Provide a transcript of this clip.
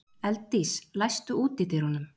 Elddís, læstu útidyrunum.